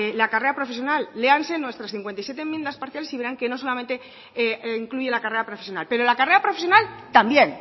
la carrera profesional léanse nuestras cincuenta y siete enmiendas parciales y verán que no solamente incluye la carrera profesional pero la carrera profesional también